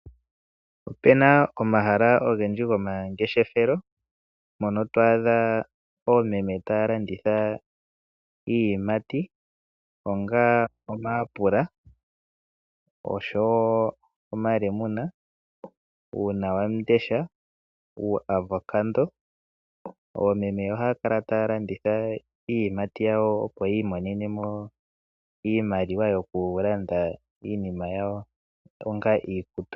Ope na omahala ogendji gomangeshefelo mpono to adha oomeme taya landitha iiyimati onga omayapula osho wo omalemuna, uunawamundesha, uuavoccado. Oomeme ohaya kala taya landitha iiyimati yawo, opo yi imonene mo iimaliwa yokulanda iinima yawo onga iikutu.